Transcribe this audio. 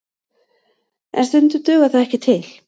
En stundum dugar það ekki til